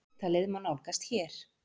Viðtalið má nálgast hér